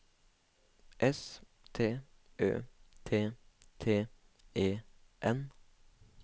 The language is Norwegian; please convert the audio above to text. S T Ø T T E N